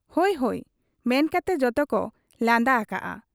ᱦᱚᱭ ᱦᱚᱭ' ᱢᱮᱱᱠᱟᱛᱮ ᱡᱚᱛᱚᱠᱚ ᱞᱟᱸᱫᱟ ᱟᱠᱟᱜ ᱟ ᱾